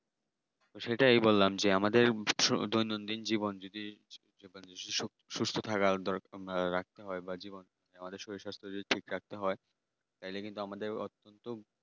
সেটাই বললাম আমাদের দৈনন্দিন জীবন যদি সুস্থ থাকা দরকার বা ভালো রাখতে হয় জীবন আমাদের শরীর স্বাস্থ্য যদি ঠিক রাখতে হয় তাহলে কিন্তু আমাদের অত